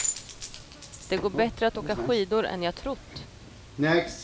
Det går bättre att åka skidor än jag trott.